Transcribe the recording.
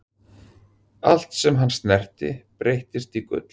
allt sem hann snerti breyttist í gull